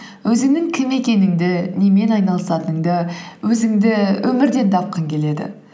өзіңнің кім екеніңді немен айналысатыныңды өзіңді өмірден тапқың келеді